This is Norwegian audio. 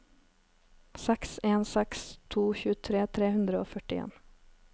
seks en seks to tjuetre tre hundre og førtien